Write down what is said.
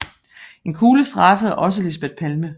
En kugle strejfede også Lisbeth Palme